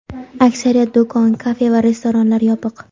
Aksariyat do‘kon, kafe va restoranlar yopiq.